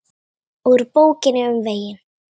Úr Bókinni um veginn